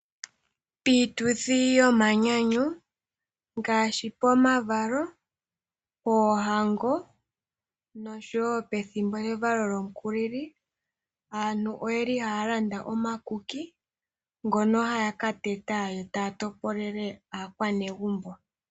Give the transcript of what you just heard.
Piituthi yomanyanyu ngaashi pomavalo, poohango noshowo pethimbo lyevalo lyomukulili, aantu ohaya landa omakuki ngono haya ka teta yo taya topolele aanegumbo.